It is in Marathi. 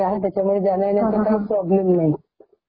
हा मग नागपूर च्या आजूबाजूला कुठलं ठिकाण ?